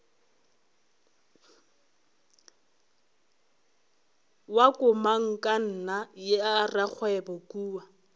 wa komangkanna ya rakgwebo kua